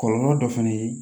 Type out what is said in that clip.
Kɔlɔlɔ dɔ fana ye